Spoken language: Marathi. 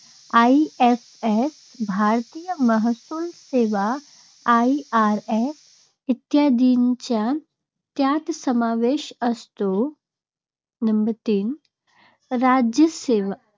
IFS, भारतीय महसूल सेवा IRS इत्यादींचा यात समावेश असतो. नंबर तीन राज्यसेवा